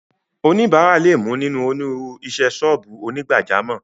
Oníbàárà lè mú nínú onírúurú isẹ́ sọ́ọ̀bù onígbàjámọ̀.